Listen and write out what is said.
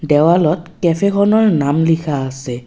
দেৱালত কেফে খনৰ নাম লিখা আছে।